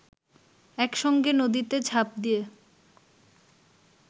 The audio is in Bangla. একসঙ্গে নদীতে ঝাঁপ দিয়ে